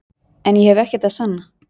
En ég hef ekkert að sanna.